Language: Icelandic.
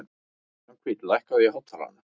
Svanhvít, lækkaðu í hátalaranum.